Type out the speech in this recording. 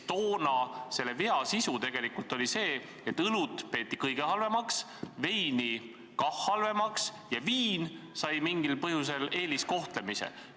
Toonase vea sisu oli tegelikult see, et õlut peeti kõige halvemaks, veini kah halvaks ja viin sai mingil põhjusel eeliskohtlemise.